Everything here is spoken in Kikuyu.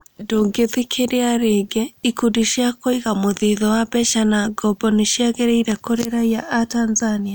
Ndũngithikĩria rĩngĩ, ikundi cia kũiga mũthithũ wa mbeca na ngombo nĩciagĩrĩire kũrĩ raiya atanzania?